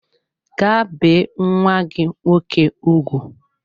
Gaa bee nwa gị nwoke ugwu!